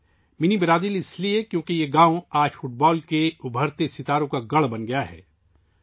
'منی Brazil' اس لیے کیونکہ یہ گاؤں آج فٹ بال کے ابھرتے ہوئے ستاروں کا گڑھ بن گیا ہے